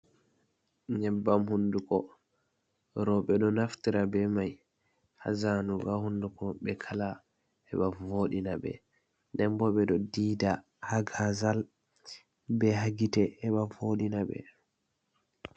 Nnebbam hunduko, rewɓe ɗo naftira be mai hazanugo ha hunduko ɓe kala heɓa voɗina ɓe, den bo ɓe ɗo diida hagazal be ha gite heɓa vodina ɓe.